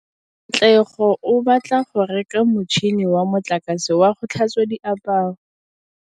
Katlego o batla go reka motšhine wa motlakase wa go tlhatswa diaparo.